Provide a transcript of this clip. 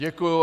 Děkuji.